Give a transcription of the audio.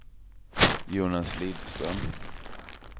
Jonas Lidström